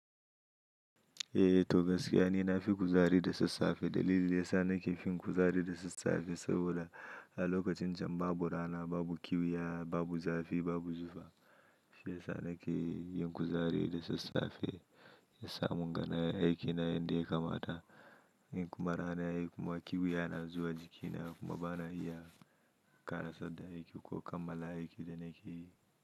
Eh to gaskiya ni na fi kuzari da sassafe. Dalili ya sa ni ke fin kuzari da sassafe saboda a lokacin jan babura na babu kiwiya, babu zafi, babu zuwa. Shi ya sa ni ke yin kuzari da sassafe. Ya samu naga nayi aiki na yanda yakamata. In kuma rana yayi kuma kiwiya na zuwa jiki na kuma ba na iya kara sadda aiki ko kammala aiki da na ke yi.